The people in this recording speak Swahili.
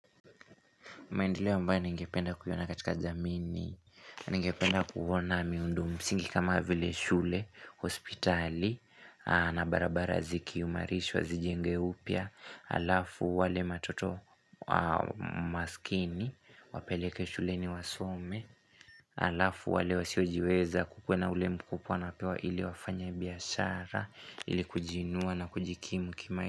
Maendeleo ambaye ningependa kuona katika jamii Ningependa kuona miundo msingi kama vile shule, hospitali na barabara zikiumarishwa zijenge upya Alafu wale matoto maskini Wapeleke shuleni wasome Alafu wale wasiojiweza kukuwa na ule mkupwa napewa ili wafanya biashara ili kujinua na kujikimu kima.